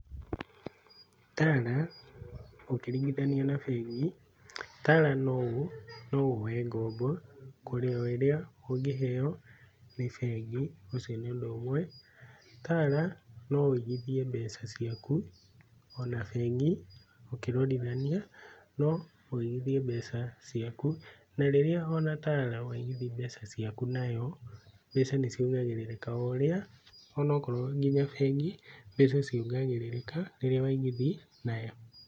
Tala ũkiringithania na bengi, Tala no woe ngombo kũrĩa o ũrĩa ũngĩheo nĩ bengi ũcio nĩ ũndũ umwe, Tala no wigithie mbeca ciaku, ona bengi ũkĩrondithania, no wigithie mbeca ciaku. Na rĩrĩa ona Tala waigithia mbeca ciaku nayo, mbeca nĩ ciongagĩrĩrĩkaga oũrĩa onokorwo nginya bengi nĩta ciongagĩrĩrĩkaga rĩrĩa waigithia nayo.